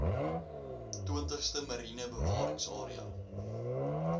twintigste mariene bewaringsarea